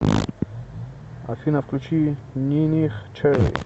афина включи ниних чери